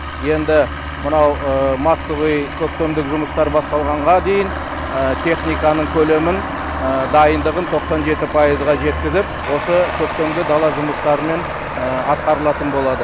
енді мынау массовый көктемгі жұмыстар басталғанға дейін техника көлемін дайындығын тоқсан жеті пайызға жеткізіп осы көктемгі дала жұмыстарымен атқарылатын болады